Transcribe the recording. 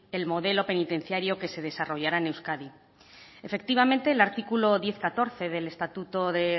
el modelo penitenciario que se desarrollará en euskadi efectivamente el artículo diez punto catorce del estatuto de